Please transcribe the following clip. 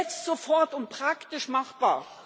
Jetzt sofort und praktisch machbar?